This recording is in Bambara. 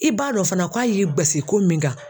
I b'a dɔn fana k'a ye guwasi ko min kan.